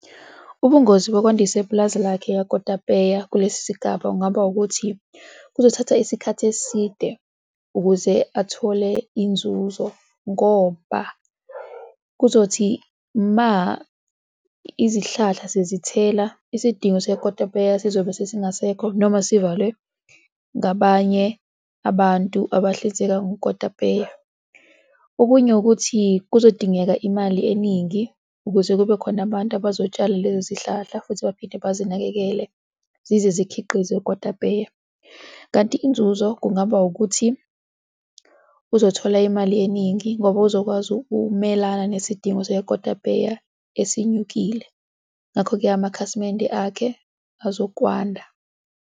Ubungozi bokwandisa ipulazi lakhe lakotapeya kulesi sigaba kungaba ukuthi kuzothatha isikhathi eside ukuze athole inzuzo ngoba kuzothi ma izihlahla sezithela isidingo sekotapeya sizobe sesingasekho noma sivalwe ngabanye abantu abahlinzeka ngokotapeya. Okunye ukuthi kuzodingeka imali eningi ukuze kube khona abantu abazotshala lezo zihlahla futhi baphinde bazinakekele zize zikhiqize ukotapeya. Kanti inzuzo kungaba ukuthi uzothola imali eningi ngoba uzokwazi ukumelana nezidingo zekotapeya esinyukile. Ngakho-ke amakhasimende akhe azokwanda.